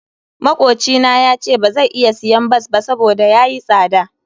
Makocina yace bazai iya siyan bas ba saboda yayi tsada.